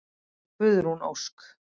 Guðrún Ósk.